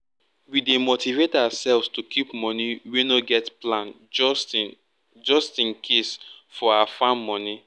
we dey motivate ourselves to keep money wey no get plan just in just in case for our farm money